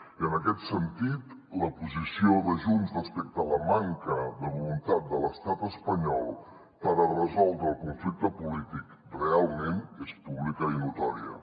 i en aquest sentit la posició de junts respecte a la manca de voluntat de l’estat espanyol per a resoldre el conflicte polític realment és pública i notòria